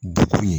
Degun ye